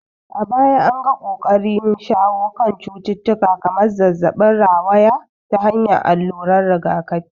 A baya an ga ƙoƙarin shawo kan cututtuka kamar zazzabin rawaya ta hanyar alluran rigakafi.